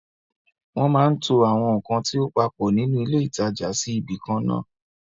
Wọ́n máa ń to àwọn ǹkan tí ó papọ̀ nínú ilé ìtajà sí ibi ìkan náà àn